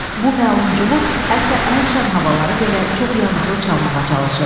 Bu məlum cuhud hətta ən şən havaları belə çox yanıqlı çalmağa çalışırdı.